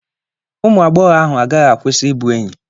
Ụmụ agbọghọ ahụ agaghị akwụsị ịbụ enyi.